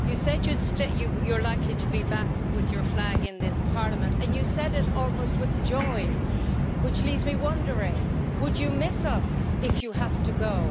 You said that you're likely to be back with your flag in this Parliament and you said it almost with joy, which leaves me wondering would you miss us if you have to go?